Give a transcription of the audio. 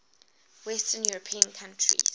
western european countries